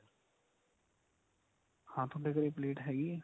ਹਾਂ ਤੁਹਾਡੇ ਘਰੇ ਪਲੇਟ ਹੈਗੀ ਏ.